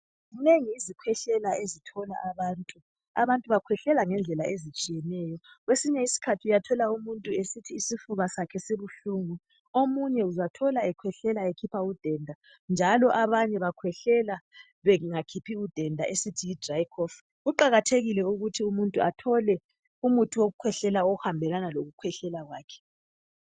Zinengi izikhwehlela ezithola abantu abantu bakhwehlela ngezindlela ezitshiyeneyo kwesinye isikhathi uyathola umuntu esithi isifuba sakhe sibuhlungu omunye uzathola ekhwehlela ekhipha udenda njalo abanye bakhwehlela bengakhiphi udenda esithi yidry coughing kuqakathekile ukuthi umuntu athole umuthi wokukhwehlela okuhambelana lokukhwehlela kwakhe